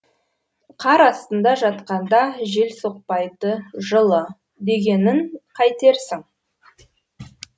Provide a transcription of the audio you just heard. қар астында жатқанда жел соқпайды жылы дегенін қайтерсің